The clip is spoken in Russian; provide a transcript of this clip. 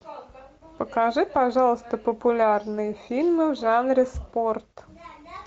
покажи пожалуйста популярные фильмы в жанре спорт